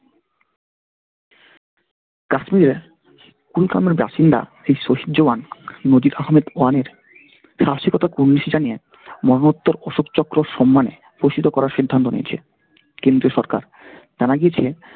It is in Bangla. কাশ্মীরের কুলকামের বাসিন্দা শ্রী শশী চৌহান মোদিক আহম্মেদ ওয়ানের সাহসিকতার কুর্নিশ জানিয়ে মিহিত্তর অশোক চক্রোর সম্মানে প্রসিত করার সিদ্ধান্ত নিয়েছে কেন্দ্রীয় সরকার। জানা গিয়েছে